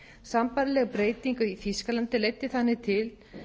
sambærileg breyting í þýskalandi leiddi þannig til